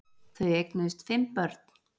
Þau eignuðust fimm börn.